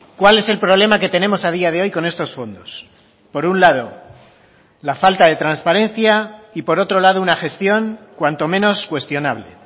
cuál es el problema que tenemos a día de hoy con estos fondos por un lado la falta de transparencia y por otro lado una gestión cuanto menos cuestionable